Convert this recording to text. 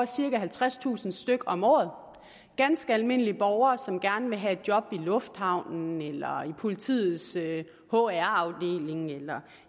cirka halvtredstusind stykke om året af ganske almindelige borgere som gerne vil have et job i lufthavnen i politiets hr afdeling eller